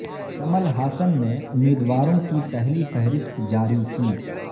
کمل ہاسن نے امیدواروں کی پہلی فہرست جاری کی